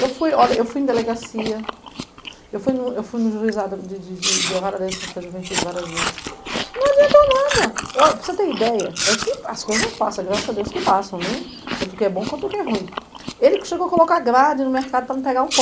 Eu fui, olha, eu fui em delegacia, eu fui no, eu fui no juizado de, de, de, da vara da infância e juventude várias vezes, não adiantou nada. O para você ter ideia, é que as coisas passam, graças a Deus que passam, né, uhum, tanto o que é bom quanto o que é ruim. Ele chegou a colocar grade no mercado para não pegar o pão